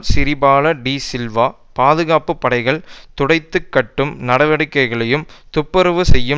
சிறிபால டி சில்வா பாதுகாப்பு படைகள் துடைத்து கட்டும் நடவடிக்கைகளையும் துப்புரவு செய்யும்